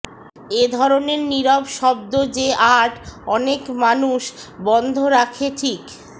এই ধরনের নীরব শব্দ যে আর্ট অনেক মানুষ বন্ধ রাখে ঠিক